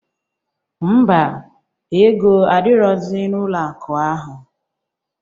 Mba, ego adirọzi n'ụlọ akụ ahụ.